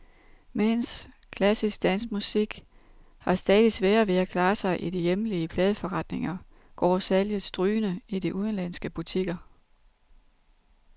Mens klassisk, dansk musik har stadigt sværere ved at klare sig i de hjemlige pladeforretninger, går salget strygende i de udenlandske butikker.